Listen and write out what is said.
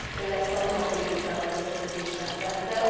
Ő ezt a romapolitikával összefüggésben tette.